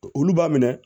Olu b'a minɛ